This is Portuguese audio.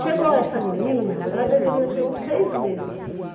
Chegou essa menina, ela deveria ter uns seis meses.